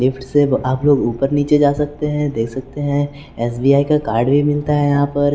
Lift आप लोग ऊपर नीचे जा सकते हैं देख सकते हैं एस_बी_आई का कार्ड भी मिलता है यहां पर।